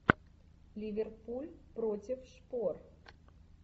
ливерпуль против шпор